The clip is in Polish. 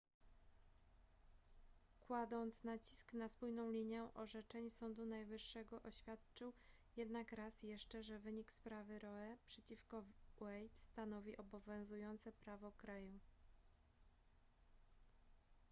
kładąc nacisk na spójną linię orzeczeń sądu najwyższego oświadczył jednak raz jeszcze że wynik sprawy roe przeciwko wade stanowi obowiązujące prawo kraju